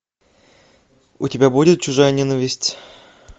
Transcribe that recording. у тебя будет чужая ненависть